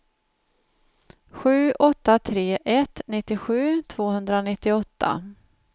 sju åtta tre ett nittiosju tvåhundranittioåtta